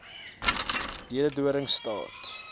leeudoringstad